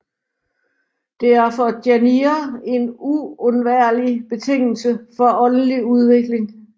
Det er for jainere en uundværlig betingelse for åndelig udvikling